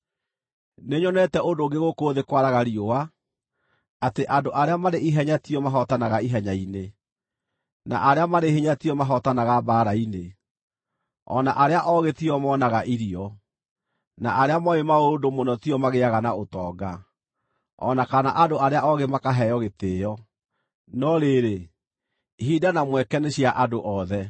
Nĩnyonete ũndũ ũngĩ gũkũ thĩ kwaraga riũa: Atĩ andũ arĩa marĩ ihenya tio mahootanaga ihenya-inĩ, na arĩa marĩ hinya tio mahootanaga mbaara-inĩ, o na arĩa oogĩ tio moonaga irio, na arĩa mooĩ maũndũ mũno tio magĩaga na ũtonga, o na kana andũ arĩa oogĩ makaheo gĩtĩĩo; no rĩrĩ, ihinda na mweke nĩ cia andũ othe.